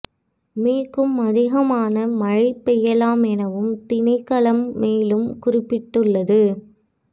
me க்கும் அதிகமான மழை பெய்யலாம் எனவும் திணைக்களம் மேலும் குறிப்பிட்டுள்ளது